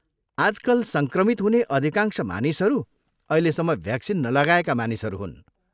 आजकल सङ्क्रमित हुने अधिकांश मानिसहरू अहिलेसम्म भ्याक्सिन नलगाएका मानिसहरू हुन्।